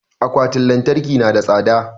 Akwatin lantarki na da tsada